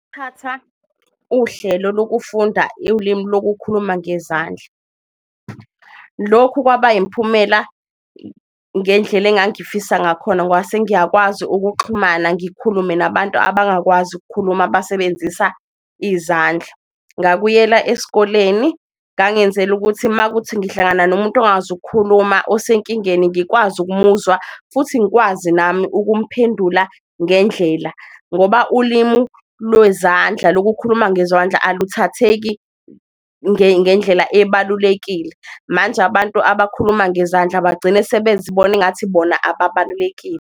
Ukuthatha uhlelo lokufunda ulimu lokukhuluma ngezandla, lokhu kwaba imphumela ngendlela engangifisa ngakhona ngoba sengiyakwazi ukuxhumana, ngikhulume nabantu abangakwazi ukukhuluma abasebenzisa izandla. Ngakuyela eskoleni, ngangenzela ukuthi makuthi ngihlangana nomuntu ongakwazi ukukhuluma osenkingeni ngikwazi ukumuzwa, futhi ngikwazi nami ukumphendula ngendlela ngoba ulimu lwezandla, lokukhuluma ngezwandla aluthatheki ngendlela ebalulekile. Manje abantu abakhuluma ngezandla bagcina sebezibona ingathi bona ababalulekile.